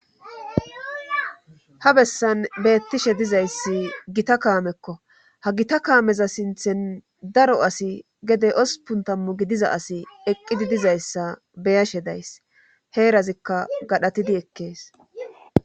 Ha bessan beettishe dizayssi gita kaamekko ha gita kaameza sinthen daro asi gede ospun tammu gidiza asi eqqidi dizayssa beyashe days heerazikka gadhatidi ekkees.